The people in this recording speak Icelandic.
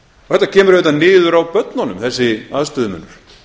þetta kemur auðvitað niður á börnunum þessi aðstöðumunur